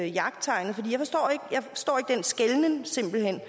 jagttegnet jeg forstår simpelt hen